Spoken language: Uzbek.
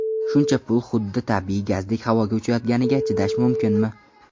Shuncha pul xuddi tabiiy gazdek havoga uchayotganiga chidash mumkinmi?